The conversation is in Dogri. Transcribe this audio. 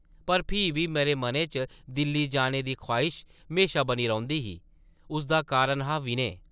पर फ्ही बी मेरे मनै च दिल्ली जाने दी ख्वाहिश म्हेशां बनी रौंह्दी ही, उसदा कारण हा-विनय ।